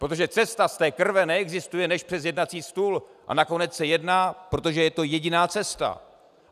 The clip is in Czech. Protože cesta z té krve neexistuje než přes jednací stůl a nakonec se jedná, protože je to jediná cesta.